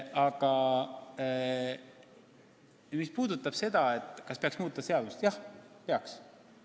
Aga mis puutub sellesse, kas peaks muutma seadust, siis jah, peaks.